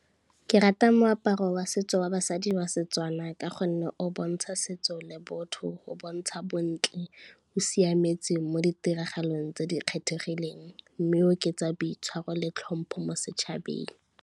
Ke rata moaparo wa setso wa basadi wa Setswana ka gonne, o bontsha setso le botho, o bontsha bontle, o siametse mo ditiragalong tse di kgethegileng, mme oketsa boitshwaro le tlhompho mo setšhabeng.